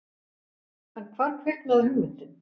En hvar kviknaði hugmyndin?